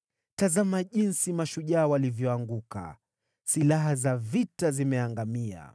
“Tazama jinsi mashujaa walivyoanguka! Silaha za vita zimeangamia!”